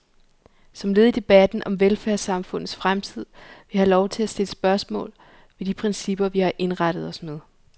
Som led i debatten om velfærdssamfundets fremtid vil jeg have lov til at stille spørgsmål ved de principper, vi har indrettet os med.